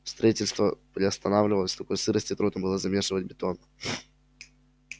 строительство приостановилось в такой сырости трудно было замешивать бетон